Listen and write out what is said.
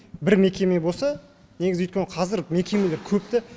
бір мекеме болса негізі өйткені қазір мекемелер көп та